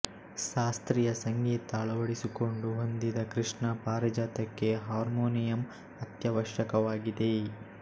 ಶಾಸ್ತ್ರೀಯ ಸಂಗೀತ ಅಳವಡಿಸಿಕೊಂಡು ಹೊಂದಿದ ಕೃಷ್ಣ ಪಾರಿಜಾತಕ್ಕೆ ಹಾರ್ಮೋನಿಯಂ ಅತ್ಯವಶ್ಯಕವಾಗಿದೆ